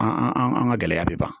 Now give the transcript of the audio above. An an an an an ka gɛlɛya bɛ ban